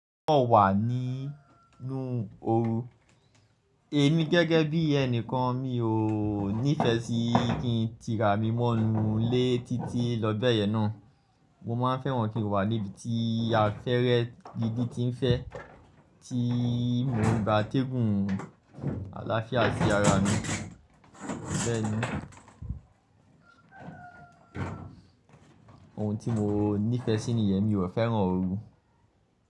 Mo wà nínú oru, èmi gẹ́gẹ́ bí ẹnìkan mi ò nífẹ sí kí n ti ra mi mọ́nu lé títí lọ bẹ́ẹ̀ yẹn ná. Mo ma n fẹ́ran kí n wà níbi tí afẹ́rẹ gidi ti ń fẹ́ tí mo ń gba téégùn aláfiá sí ara mi. Bẹ́ẹ̀ni, ohun tí mo nífẹsí nìyẹn, mi ò fẹ́ran oru.